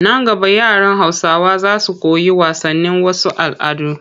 Nan gaba yaran Hausawa za su koyi wasanin wasu al'adun